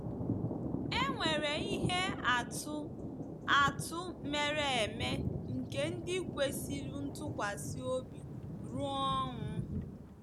E nwere ihe atụ atụ mere eme nke ndị kwesịrị ntụkwasị obi ruo ọnwụ.